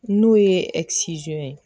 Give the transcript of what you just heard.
N'o ye ye